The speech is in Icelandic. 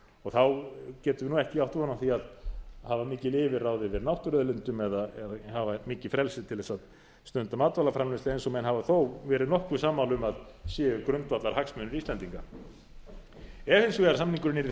og þá getum við ekki átt von á því að hafa mikil yfirráð yfir náttúruauðlindum eða hafa mikið frelsi til þess að stunda matvælaframleiðslu eins og menn hafa þó verið nokkuð sammála um að séu grundvallarhagsmunir íslendinga ef hins vegar samningurinn yrði